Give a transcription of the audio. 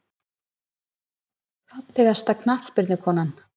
Fallegasta knattspyrnukonan?